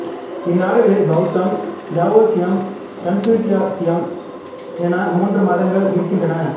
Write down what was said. இந்நாடுகளில் பௌத்தம் தாவோயிசம் கன்பூசியசிசம் என மூன்று மதங்கள் இருக்கின்றன